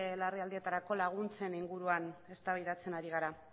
larrialdietarako laguntzen inguruan eztabaidatzen ari gara